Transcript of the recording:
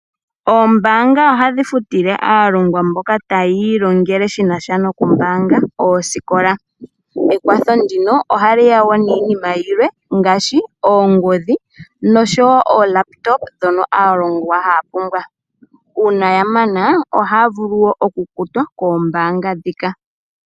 Oombanga ohadhi futile aalongwa mboka tayi ilongele shina sha nokumbaanga oosikola. Ekwatho ndino ohali ya wo niinima yilwe ngaashi oongodhi noshowo ookompiwuta dhono aalongwa haya pumbwa. Uuna ya mana ohaya vulu wo okukutwa koombanga dhika.